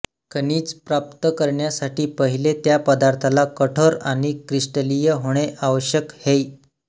खनिज प्राप्त करण्यासाठी पहिले त्या पदार्थाला कठोर आणि क्रिस्टलीय होणे आवश्यक है